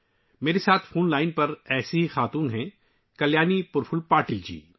ایسی ہی ایک خاتون کلیانی پرفل پاٹل جی ہیں ، جو میرے ساتھ فون لائن پر ہیں